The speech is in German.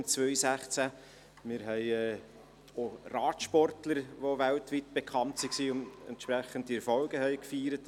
Wir haben auch Radsportler, die weltweit bekannt waren und entsprechende Erfolge feierten.